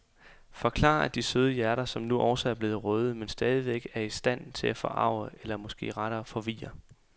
Forklarer de søde hjerter, som nu også er blevet røde, men stadigvæk er i stand til at forarge eller måske rettere forvirre.